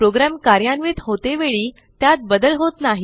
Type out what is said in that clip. program कार्यान्वित होते वेळी त्यात बदल होत नाही